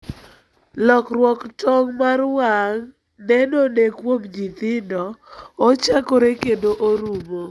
Lokruok tong' mar wang' nenone kuom nyithindo, ochakore kendo orumo.